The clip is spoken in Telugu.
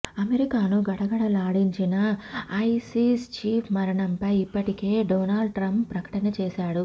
అమెరికాను గడగడలాడించిన ఐసిస్ చీప్ మరణంపై ఇప్పటికే డొనాల్డ్ ట్రంప్ ప్రకటన చేశాడు